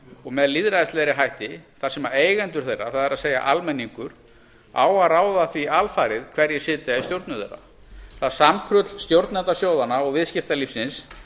og með lýðræðislegri hætti þar sem eigendur þeirra það er almenningur á að ráða því alfarið hverjir sitja í stjórnum þeirra það samkrull stjórnenda sjóðanna og viðskiptalífsins